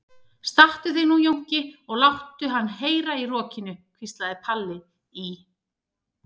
Stattu þig nú Jónki og láttu hann heyra í rokinu, hvíslaði Palli í